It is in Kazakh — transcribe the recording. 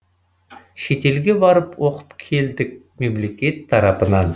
шетелге барып оқып келдік мемлекет тарапынан